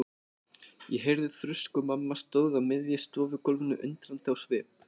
Ég heyrði þrusk og mamma stóð á miðju stofugólfinu undrandi á svip.